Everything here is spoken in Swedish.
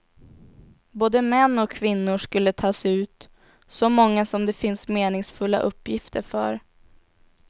Både män och kvinnor skulle tas ut, så många som det finns meningsfulla uppgifter för.